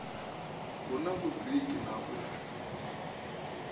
hu na vhudziki na u